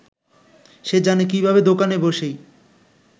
সে জানে কীভাবে দোকানে বসেই